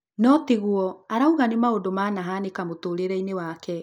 No tiguo, arauga nĩ maũndũ manahanĩka mũtũrĩre-inĩ wake